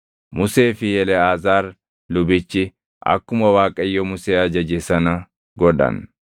Musee fi Eleʼaazaar lubichi akkuma Waaqayyo Musee ajaje sana godhan.